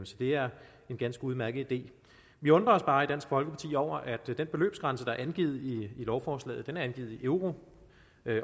så det er en ganske udmærket idé vi undrer os bare i dansk folkeparti over at den beløbsgrænse der er angivet i lovforslaget er angivet i euro